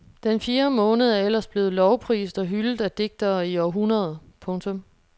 Den fjerde måned er ellers blevet lovprist og hyldet af digtere i århundreder. punktum